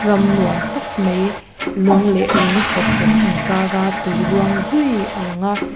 Ram nuam tak mai lung leh lung khawk rawk in kara tui luang zui a lang a.